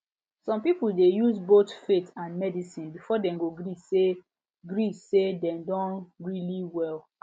some people dey use both faith and medicine before dem go gree say gree say dem don really well